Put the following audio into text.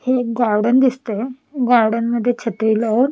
हे एक गार्डन दिसतय गार्डन मध्ये छत्री लावून--